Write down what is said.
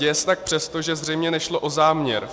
Děje se tak přesto, že zřejmě nešlo o záměr.